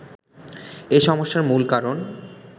“এ সমস্যার মূল কারণ